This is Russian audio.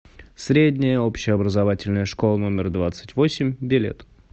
средняя общеобразовательная школа номер двадцать восемь билет